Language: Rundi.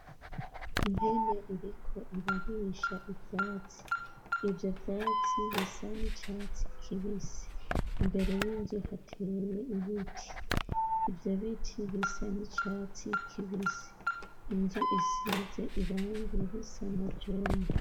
Impene iriko irarisha ivyatsi ivyo vyatsi bisa n'icatsi kibisi, imbere y'inzu hateye ibiti, ivyo biti bisa n'icatsi kibisi, inzu isize irangi risa na jone.